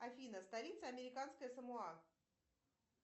афина столица американское самоа